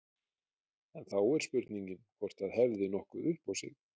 En þá er spurningin hvort það hefði nokkuð upp á sig.